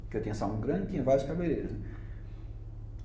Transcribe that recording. Porque eu tinha salão grande e tinha vários cabeleireiros, né.